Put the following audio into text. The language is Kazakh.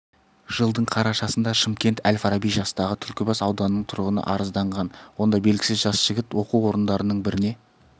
жылдың қарашасында шымкент әл-фараби жастағы түлкібас ауданының тұрғыны арызданған онда белгісіз жас жігіт оқу орындарының біріне